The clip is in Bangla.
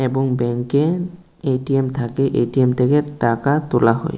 এবং ব্যাঙ্কে এ_টি_এম থাকে এ_টি_এম থেকে টাকা তোলা হয়।